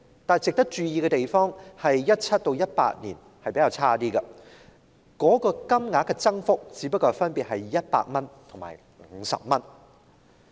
但值得注意之處是2017年和2018年的增幅稍遜，分別只有100元和50元。